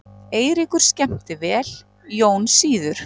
Eiríkur skemmti vel, Jón síður.